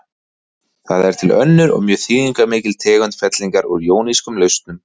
Það er til önnur og mjög þýðingarmikil tegund fellingar úr jónískum lausnum.